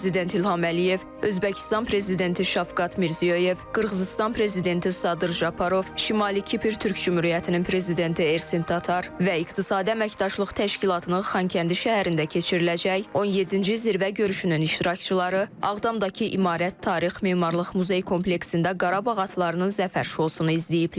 Prezident İlham Əliyev, Özbəkistan Prezidenti Şavkat Mirziyoyev, Qırğızıstan Prezidenti Sadır Japarov, Şimali Kipr Türk Cümhuriyyətinin Prezidenti Ersin Tatar və İqtisadi Əməkdaşlıq Təşkilatının Xankəndi şəhərində keçiriləcək 17-ci zirvə görüşünün iştirakçıları Ağdamdakı İmarət Tarix Memarlıq Muzey kompleksində Qarabağ atlarının zəfər şousunu izləyiblər.